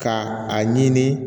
Ka a ɲini